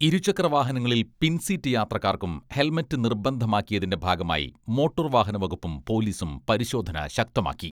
ഇരുചക്രവാഹനങ്ങളിൽ പിൻസീറ്റ് യാത്രക്കാർക്കും ഹെൽമറ്റ് നിർബന്ധമാക്കിയതിന്റെ ഭാഗമായി മോട്ടോർ വാഹനവകുപ്പും പോലീസും പരിശോധന ശക്തമാക്കി.